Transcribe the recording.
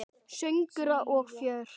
Söngur og fjör.